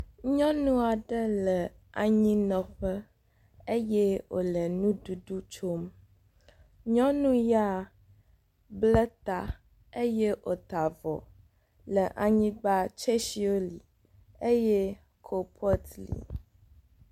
Nyɔnu aɖe le anyinɔƒe eye wòle nuɖuɖu tsom, nyɔnu ya bla ta eye wòta vɔ le anyigba, tsetsiwo li eye kolpɔt li.